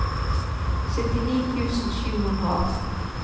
syttini tusen sju hundre og atten